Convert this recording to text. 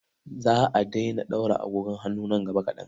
Za a daina ɗaura agogon hannu nan gaba kaɗan.